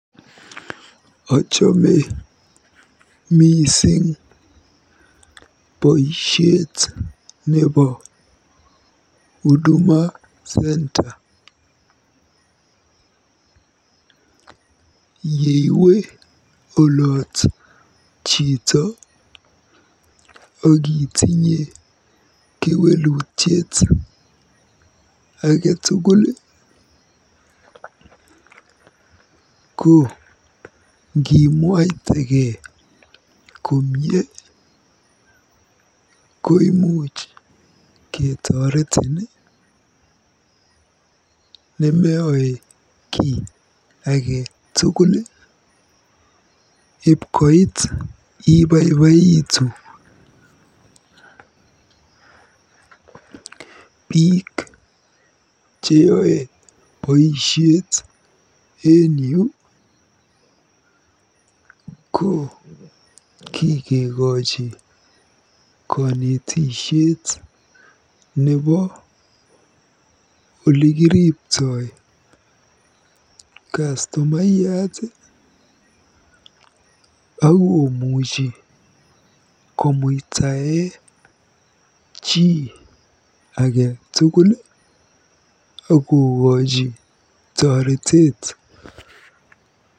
Ochome mising boisiet nebo Huduma Centre. Yeiwe olot chito akitinye kewelutiet age tugul ko ngimwaitege komie koimuch ketoretin, nemeyoe kiy age tugul, ipkoit ibaibaitu. Biik cheyoe boisiet en yu ko kikekoji konetishet nebo olekiripto kastomayat akomuchi komuitae chi age tugul akokochi toreteet.